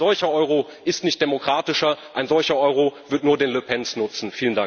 Ein solcher Euro ist nicht demokratischer, ein solcher Euro wird nur den Le Pens nutzen!